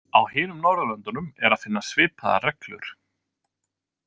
Á hinum Norðurlöndunum er að finna svipaðar reglur.